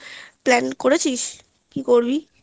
plan করেছিস কি করবি?